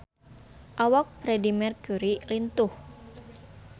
Awak Freedie Mercury lintuh